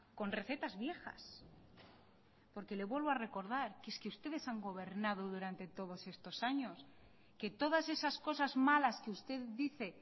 con recetas viejas porque le vuelvo a recordar que es que ustedes han gobernado durante todos estos años que todas esas cosas malas que usted dice